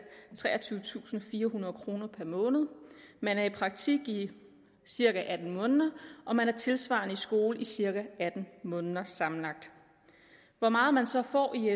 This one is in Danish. treogtyvetusinde og firehundrede kroner per måned man er i praktik i cirka atten måneder og man er tilsvarende i skole i cirka atten måneder sammenlagt hvor meget man så får i